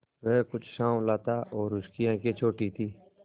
वह कुछ साँवला था और उसकी आंखें छोटी थीं